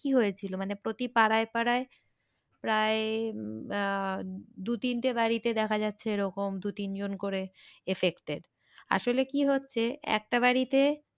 কি হয়েছিল মানে প্রতি পাড়ায় পাড়ায় প্রায় উম আহ দু তিনটে বাড়িতে দেখা যাচ্ছে এরকম দু তিন জন করে affected আসলে কি হচ্ছে একটা বাড়িতে,